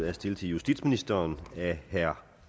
er stillet til justitsministeren af herre